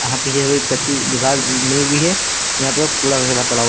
यहां पे कच्ची हुई है यहां पे कूड़ा वगैरह पड़ा हुआ--